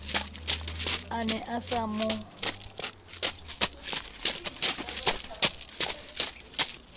a ne a sa mo